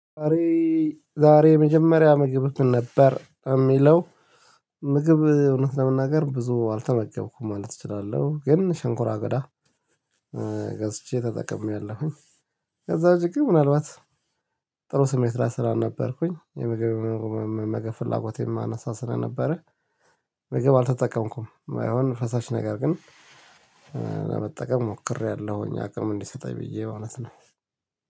ዛሬ የመጀመሪያ ምግብ ምን ነበር? የሚለው ምግብ እውነት ለመናገር ብዙ አልተመገብኩም ማለት እችላለሁ ግን ሸንኩራ አገዳ ገዝቼ ተጠቅሜያለሁኝ ከዛ ዉጭ ምናልባት ጥሩ ስሜት ላይ ስላልነበርኩኝ የምግብ የምግብ ፍላጎት አናሳ ስለነበረ ምግብ አልተጠቀምኩም ባይሆን ፈሳሽ ነገር ግን ለመጠቀም ሞክሬያለሁኝ አቅም እንዲሰጠኝ ብዬ እውነት ነው።